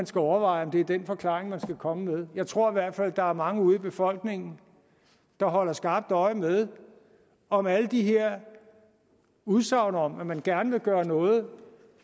skal overveje om det er den forklaring man skal komme med jeg tror i hvert fald at der er mange ude i befolkningen der holder skarpt øje med om alle de her udsagn om at man gerne vil gøre noget